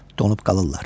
donub qalırlar.